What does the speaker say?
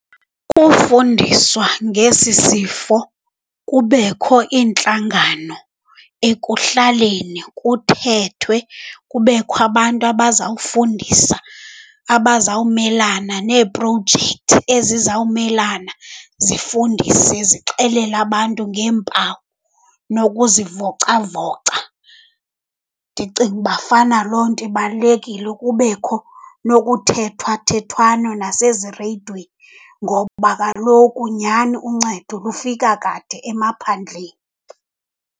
Kufundiswa ngesi sifo, kubekho iintlangano ekuhlaleni kuthethwe. Kubekho abantu abazawufundisa, abazawumelana neeprojekthi ezizawumelana, zifundise, zixelele abantu ngeempawu nokuzivocavoca. Ndicinga ukuba fana loo nto ibalulekile, kubekho nokuthethwathethwano nasezireyidweni, ngoba kaloku nyhani uncedo lufika kade emaphandleni.